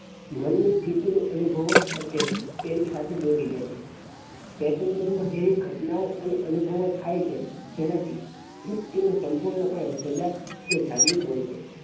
મનની સ્તિથી ની અનુભવો અને તેની સાથે દોરી જાય છે ચેતન મન માં થયેલ ઘટનાઓં અને અનુભવો થાય છે જેનાં થી વ્યક્તિ સંપૂર્ણ પણે સજાગ કે જાગ્રુત હોઈ છે